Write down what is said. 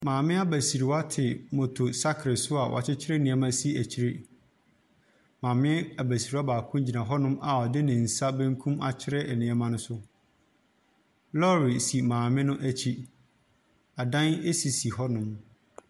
Maame abasriwa te moto saakel so a wɔkyekyere neɛma esi ekyire. Maame abasriwa baako gyina hɔ a ɔde ne nsa benkum akyerɛ nneɛma no so. Lɔɔre si maame no ekyi, adan esisi hɔ nom.